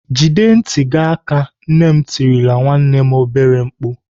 "Jide ntị gị aka!" Nne m tirile nwanne m obere mkpu.